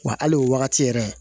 Wa hali o wagati yɛrɛ